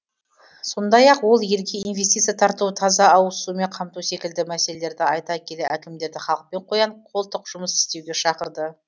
сондай ақ ол елге инвестиция тарту таза ауызсумен қамту секілді мәселелерді айта келе әкімдерді халықпен қоян қолтық жұмыс істеуге шақырды